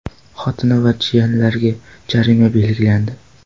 Xotini va jiyanlariga jarima belgilandi.